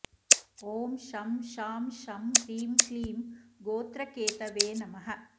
ॐ शं शां षं ह्रीं क्लीं गोत्रकेतवे नमः